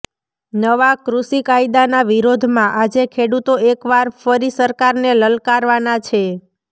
નવા કૃષિ કાયદાના વિરોધમાં આજે ખેડૂતો એક વાર ફરી સરકારને લલકારવાના છે